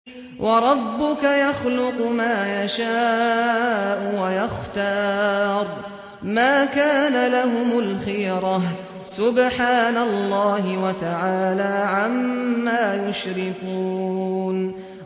وَرَبُّكَ يَخْلُقُ مَا يَشَاءُ وَيَخْتَارُ ۗ مَا كَانَ لَهُمُ الْخِيَرَةُ ۚ سُبْحَانَ اللَّهِ وَتَعَالَىٰ عَمَّا يُشْرِكُونَ